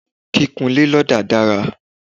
kíkun ilé lọda dára